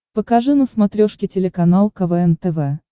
покажи на смотрешке телеканал квн тв